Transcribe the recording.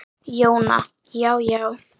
Jóna Já, já.